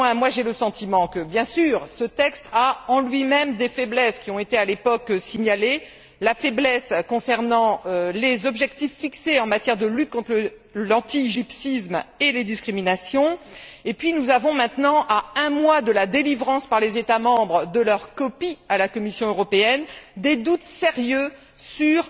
Néanmoins, j'ai le sentiment que, bien sûr, ce texte a en lui même des faiblesses qui ont été à l'époque signalées, la faiblesse concernant les objectifs fixés en matière de lutte contre l'antigypsisme et les discriminations et puis nous avons maintenant, à un mois de la délivrance par les États membres de leur copie à la Commission européenne, des doutes sérieux sur